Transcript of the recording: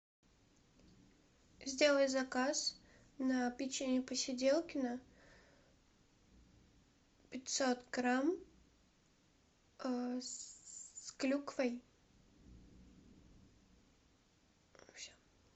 сделай заказ на печенье посиделкино пятьсот грамм с клюквой все